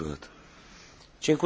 Panie Przewodniczący!